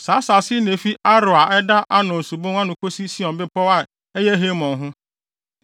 Saa asase yi na efi Aroer a ɛda Arnon subon no ano kosi Sion bepɔw a ɛyɛ Hermon ho.